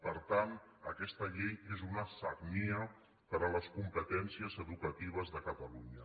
per tant aquesta llei és una sagnia per a les competències educatives de catalunya